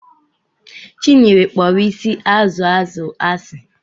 Chinyere kpọrọ isi azụ azụ asị.